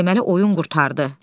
Deməli oyun qurtardı.